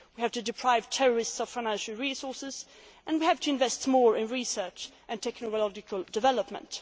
of threats. We have to deprive terrorists of financial resources and to invest more in research and technological